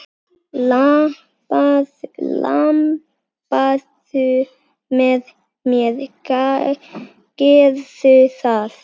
Labbaðu með mér, gerðu það!